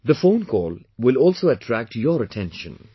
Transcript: This phone call will also attract your attention